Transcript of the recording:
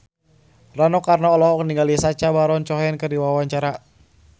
Rano Karno olohok ningali Sacha Baron Cohen keur diwawancara